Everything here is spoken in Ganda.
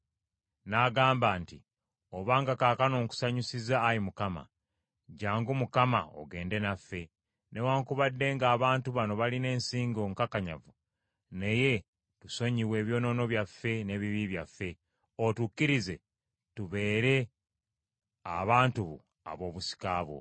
N’agamba nti, “Obanga kaakano nkusanyusizza, Ayi Mukama, jjangu, Mukama, ogende naffe. Newaakubadde ng’abantu bano balina ensingo nkakanyavu, naye tusonyiwe ebyonoono byaffe n’ebibi byaffe, otukkirize tubeere abantu bo ab’obusika bwo.”